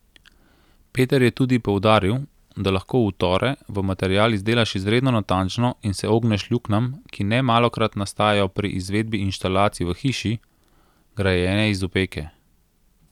Peter je tudi poudaril, da lahko utore v material izdelaš izredno natančno in se ogneš luknjam, ki nemalokrat nastajajo pri izvedbi inštalacij v hiši, grajeni iz opeke.